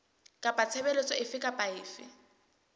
kapa tshebeletso efe kapa efe